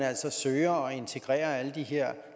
søger at integrere alle de her